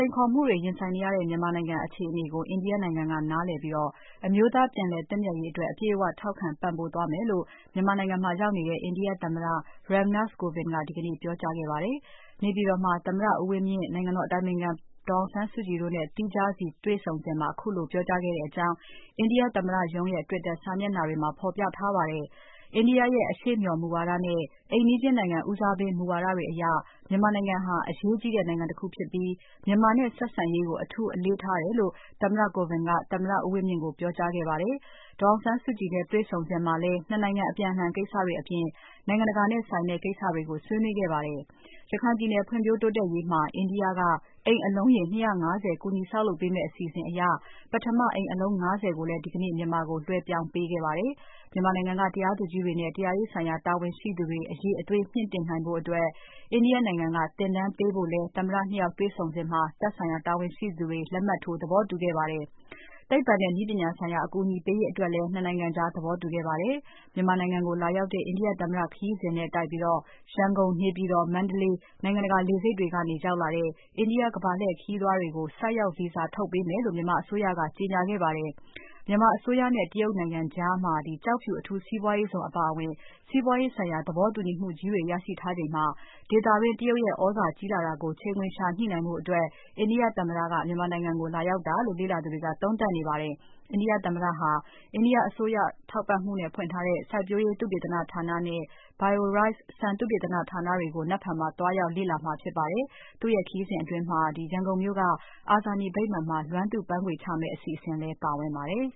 ိန်ခေါ်မှုတွေရင်ဆိုင်နေရတဲ့ မြန်မာနိုင်ငံအခြေအနေကို အိန္ဒိယ နိုင်ငံက နားလည်ပြီး အမျိုးသားပြန်လည်သင့်မြတ်ရေးအတွက် အပြည့်အဝ ထောက်ခံ ပံ့ပိုးသွားမယ်လို့ မြန်မာနိုင်ငံမှာရောက်နေတဲ့ အိန္ဒိယ သမ္မတ Ram Nath Kovind ကဒီကနေ့ ပြောကြားခဲ့ပါတယ်။ နေပြည်တော်မှာ သမ္မတ ဦးဝင်းမြင့် နိုင်ငံတော်အတိုင်ပင်ခံ ဒေါ်အောင်ဆန်းစုကြည်နဲ့ သီးခြားစဉ်တွေ့ဆုံစဉ် ခုလိုပြောကြားခဲ့တဲ့အကြောင်း အိန္ဒိယ သမ္မတရုံးရဲ့ Twitter စာမျက်နှာတွေမှာ ဖော်ပြထားပါတယ်။ India ရဲ့ အရှေ့မျှော်မူဝါဒနဲ့ အိမ်နီးချင်းနိုင်ငံဦးစားပေးမူဝါဒတွေအရ မြန်မာနိုင်ငံဟာ အရေးကြီးတဲ့နိုင်ငံတခုဖြစ်ပြီး မြန်မာနဲ့ဆက်ဆံရေးကို အထူးအလေးထားတယ်လို့ သမ္မတ Kovind က သမ္မတဦးဝင်းမြင့်ကို ပြောကြားခဲ့ပါတယ်။ ဒေါ်အောင်ဆန်းစုကြည်နဲ့ တွေ့ဆုံစဉ်မှာလည်း ၂ နိုင်ငံအပြန်အလှန်ကိစ္စတွေအပြင် နိုင်ငံတကာနဲ့ဆိုင်တဲ့ကိစ္စတွေကိုလည်း ဆွေးနွေးခဲ့ပါတယ်။ ရခိုင်ပြည်နယ်ဖွံ့ဖြိုးတိုးတက်ရေးမှာ အိန္ဒိယကအိမ်အလုံးရေ ၂၅၀ ကူညီဆောက်လုပ်ပေးမယ့်အစီအစဉ်အရ ပထမအိမ်အလုံး ၅၀ ကိုလည်းဒီကနေ့ မြန်မာကိုလွဲှပြောင်းပေးခဲ့ပါတယ်။ မြန်မာနိုင်ငံက တရားသူကြီးတွေနဲ့ တရားရေးဆိုင်ရာတာဝန်ရှိသူတွေ အရေအသွေးမြှင့်တင်ရေးအတွက် India နိုင်ငံကသင်တန်းပေးဖို့လည်း သမ္မတ ၂ ယောက်တေ့ွဆုံပွဲမှာ သက်ဆိုင်ရာတာဝန်ရှိသူတွေ လက်မှတ်ထိုးသဘောတူခဲ့ပါတယ်။ သိပ္ပံနဲ့နည်းပညာဆိုင်ရာ အကူအညီပေးရေးအတွက်လည်း ၂ နိုင်ငံကြား သဘောတူခဲ့ကြပါတယ်။ မြန်မာနိုင်ငံကိုလာရောက်တဲ့ အိန္ဒိယ သမ္မတခရီးစဉ်နဲ့တိုက်ပြီး ရန်ကုန်၊ နေပြည်တော်၊ မန္တလေး နိုင်ငံတကာလေဆိပ်တွေကနေ ရောက်လာတဲ့ အိန္ဒိယကမ္ဘာလှည့်ခရီးသွားတွေကို ဆိုက်ရောက် Visa ထုတ်ပေးမယ်လို့ မြန်မာအစိုးရက ကြေညာခဲ့ပါတယ်။ မြန်မာအစိုးရနဲ့ တရုတ်နိုင်ငံကြား ကျောက်ဖြူ အထူးစီးပွားရေးဇုံအပါအဝင် စီးပွားရေးဆိုင်ရာသဘောတူညီမှုကြီးတွေ ရရှိထားချိန်မှာ ဒေသတွင်း တရုတ်ရဲ့ သြဇာကြီးလာတာကို ချိန်ခွင်လျှညှိနှိုင်းဖို့ အိန္ဒိယ သမ္မတ မြန်မာနိုင်ငံကို လာရောက်တာလို့ လေ့လာသူတွေက သုံးသပ်နေကြပါတယ်။ India သမ္မတဟာ India အစိုးရထောက်ပံ့မှုနဲ့ ဖွင့်ထားတဲ့ စိုက်ပျိုးရေး သုတေသနဌာနနဲ့ ဆန်သုတေသနဌာနတွေကို နက်ဖြန်မှာသွားရောက်လေ့လာမှာဖြစ်ပါတယ်။ သူ့ခရီးစဉ်အတွင်း ရန်ကုန်မြို့က အာဇာနည်ဗိမ္မာန်မှာ လွမ်းသူ့ပန်းခွေချမယ့်အစီအစဉ်လည်းပါဝင်ပါတယ်။